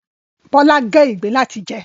Bọ́lá gé ìgbín láti jẹ